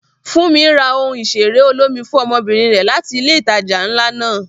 Funmi ra ohun ìṣeré olómi fún ọmọbìnrin rẹ̀ láti ilé ìtajà ńlá náà.